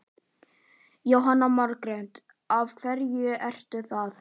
Jóhanna Margrét: Af hverju ertu það?